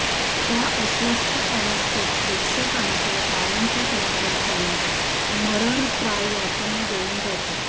त्या अस्वस्थ अवस्थेत प्रेक्षकांच्या टाळ्यांचा कडकडाट त्याला मरणप्राय यातना देऊन जातो